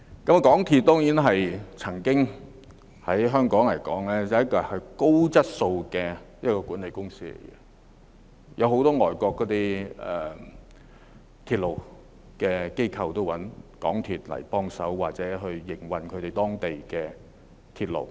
港鐵公司曾經是香港一間具備高質素管理的公司，很多外國的鐵路機構也會找港鐵公司協助營運當地的鐵路。